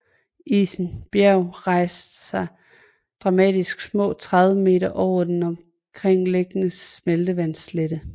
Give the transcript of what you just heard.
Isen Bjerg rejser sig dramatisk små 30 meter over den omgivende smeltevandsslette